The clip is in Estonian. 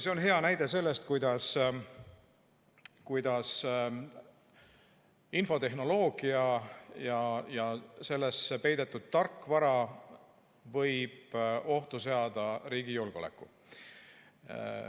See on hea näide sellest, kuidas infotehnoloogia ja sellesse peidetud tarkvara võib ohtu seada riigi julgeoleku.